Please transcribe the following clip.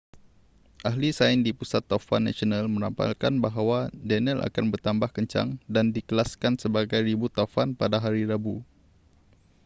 ahli sains di pusat taufan nasional meramalkan bahawa danielle akan bertambah kencang dan dikelaskan sebagai ribut taufan pada hari rabu